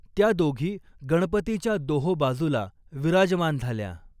त्या दोघी गणपतीच्या दोहो बाजूला विराजमान झाल्या.